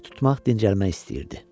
Ev tutmaq dincəlmək istəyirdi.